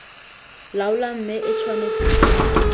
laola mme e tshwanetse go